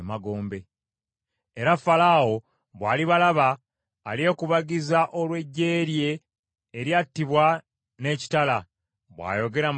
“Era Falaawo, bw’alibalaba, alyekubagiza olw’eggye lye eryattibwa n’ekitala, bw’ayogera Mukama Katonda.